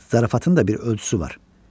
Zarafatın da bir ölçüsü var.